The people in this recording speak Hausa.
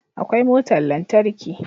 Akwai motar lantarki